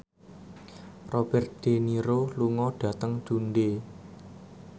Robert de Niro lunga dhateng Dundee